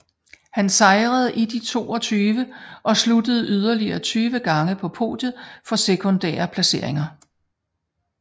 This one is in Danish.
Han sejrede i de 22 og sluttede yderligere 20 gange på podiet for sekundære placeringer